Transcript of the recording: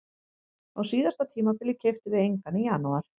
Á síðasta tímabili keyptum við engan í janúar.